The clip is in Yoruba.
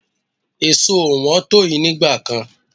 Èso ò wọ́n to yi nígbà kan.